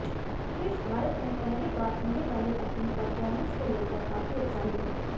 Chris Bharat में पहली बार होने वाली अपनी परफॉर्मंस को लेकर काफी उत्साहित हैं